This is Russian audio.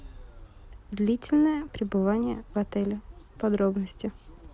длительное пребывание в отеле подробности